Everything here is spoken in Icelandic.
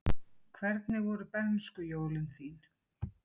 Hvernig voru bernskujólin þín?